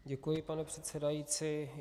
Děkuji, pane předsedající.